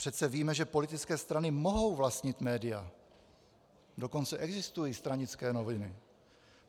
Přece víme, že politické strany mohou vlastnit média, dokonce existují stranické noviny.